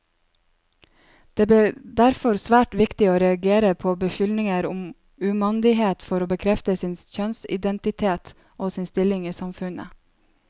Det ble derfor svært viktig å reagere på beskyldninger om umandighet for å bekrefte sin kjønnsidentitet, og sin stilling i samfunnet.